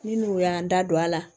Ni n'u y'an da don a la